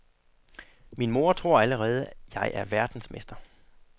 Min mor tror allerede, jeg er verdensmester.